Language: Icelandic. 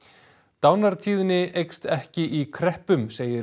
dánartíðni eykst ekki í kreppum segir